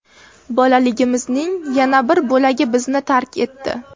Bolaligimizning yana bir bo‘lagi bizni tark etdi.